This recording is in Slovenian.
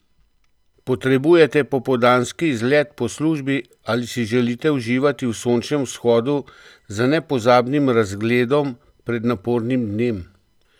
Potrebujete popoldanski izlet po službi ali si želite uživati v sončnem vzhodu z nepozabnim razgledom pred napornim dnem?